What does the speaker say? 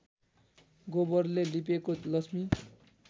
गोबरले लिपेको लक्ष्मी